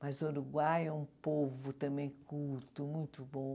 Mas o Uruguai é um povo também culto, muito bom.